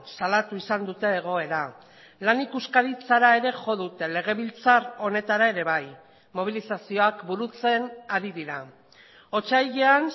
salatu izan dute egoera lan ikuskaritzara ere jo dute legebiltzar honetara ere bai mobilizazioak burutzen ari dira otsailean